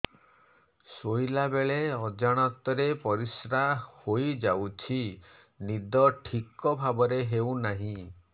ଶୋଇଲା ବେଳେ ଅଜାଣତରେ ପରିସ୍ରା ହୋଇଯାଉଛି ନିଦ ଠିକ ଭାବରେ ହେଉ ନାହିଁ